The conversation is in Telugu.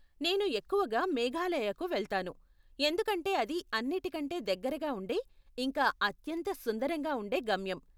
నేను ఎక్కువగా మేఘాలయకు వెళ్తాను, ఎందుకంటే అది అన్నిటికంటే దగ్గరగా ఉండే, ఇంకా అత్యంత సుందరంగా ఉండే గమ్యం.